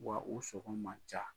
Wa u sɔngɔn man ca.